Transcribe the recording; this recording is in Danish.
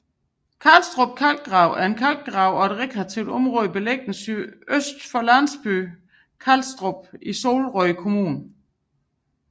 Karlstrup Kalkgrav er en kalkgrav og rekreativt område beliggende sydøst for landsbyen Karlstrup i Solrød Kommune